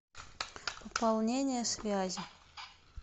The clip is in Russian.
пополнение связи